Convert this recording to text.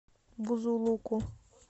бузулуку